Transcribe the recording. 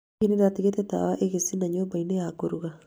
Hihi nĩ ndatigĩte tawa ĩgĩcinaga nyũmba-inĩ ya kũruga